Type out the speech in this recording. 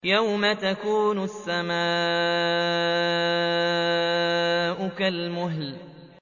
يَوْمَ تَكُونُ السَّمَاءُ كَالْمُهْلِ